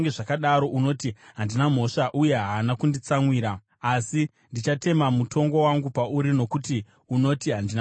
unoti, ‘Handina mhosva; uye haana kunditsamwira.’ Asi ndichatema mutongo wangu pauri nokuti unoti, ‘Handina kutadza.’